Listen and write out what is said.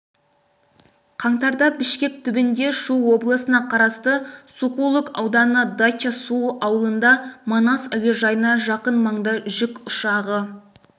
қаңтарда бішкек түбінде шу облысына қарасты сокулук ауданы дача-суу ауылында манас әуежайына жақын маңда жүк ұшағы